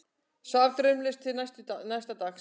Svaf draumlaust til næsta dags.